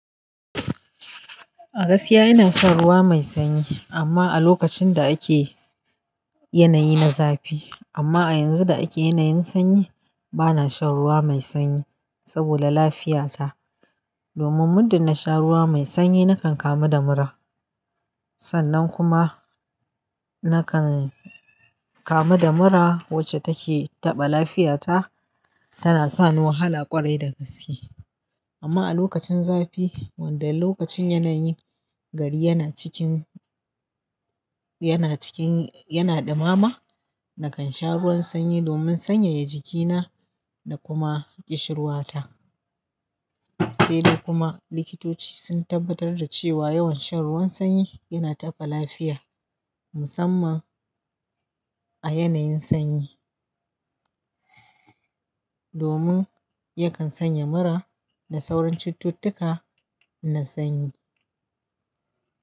A gaskiya ina shan ruwa mai sanyi amma a lokacin da ake yanayi na zafi, amma a yanzu da ake yanayin sanyi bana shan ruwa mai sanyi sabida lafiyata. Domin muddin na sha ruwa mai sanyi nakan kamu da mura sannan kuma nakan kamu da mura wacce take taɓa lafiyata tana sani wahala ƙwarai da gaske. Amma a lokacin zafi wanda lokacin yanayi gari yana cikin, yana cikin, yana ɗimama nakan sha ruwan sanyi domin sanyaya jikina da kuma ƙishirwata. Sai dai kuma likitoci sun tabbatar da cewa yawan shan ruwan sanyi yana taɓa lafiya musamman a yanayin sanyi. Domin yakan sanya mura da sauran cututtukan na sanyi.